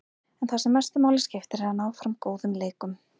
En það sem mestu máli skiptir er að ná fram góðum leikum.